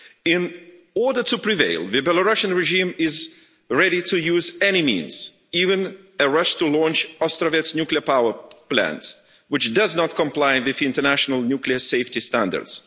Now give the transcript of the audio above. In order to prevail, the Belarusian regime is ready to use any means, even a rush to launch the Astravyets Nuclear Power Plant, which does not comply with international nuclear safety standards.